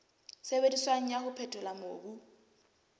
sebediswang wa ho phethola mobu